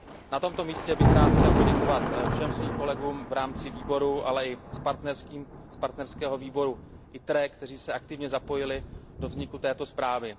Na tomto místě bych rád poděkoval všem svým kolegům v rámci výboru, ale i kolegům z partnerského výboru ITRE, kteří se aktivně zapojili do vzniku této zprávy.